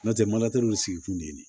N'o tɛ maliw sigi kun tɛ nin ye